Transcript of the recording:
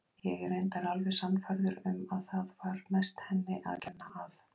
Ég er reyndar alveg sannfærður um að það var mest henni að kenna að